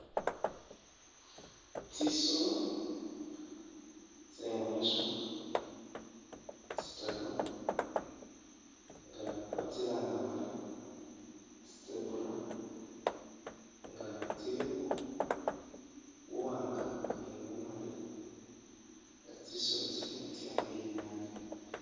Tsisoolo tsemwiswa tsitaru nga batsilanga bari tsi'zebra nga tsilimo buwanga ni bumali nga tsisoolo tsino tsamiliya naabi